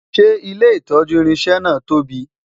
ṣé ilé itọju irinṣẹ na tóbi?